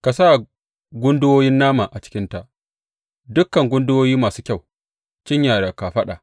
Ka sa gunduwoyin nama a cikinta dukan gunduwoyi masu kyau, cinya da kafaɗa.